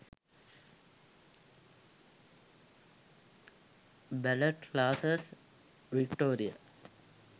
ballet classes victoria